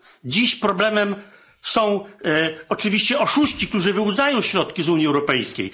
Dziś problemem są oczywiście oszuści, którzy wyłudzają środki z Unii Europejskiej.